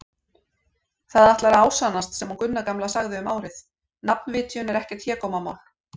Það ætlar að ásannast sem hún Gunna gamla sagði um árið: nafnvitjun er ekkert hégómamál.